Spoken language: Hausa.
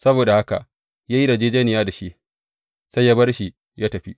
Saboda haka ya yi yarjejjeniya da shi, sai ya bar shi ya tafi.